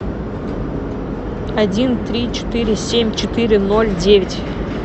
один три четыре семь четыре ноль девять